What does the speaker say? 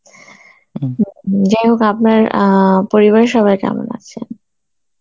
যাই হোক আপনার অ্যাঁ পরিবারের সবাই কেমন আছে?